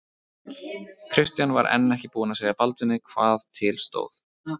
Christian var enn ekki búinn að segja Baldvini hvað til stóð.